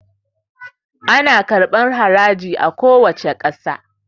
A kuwace ƙasa ana karɓan haraji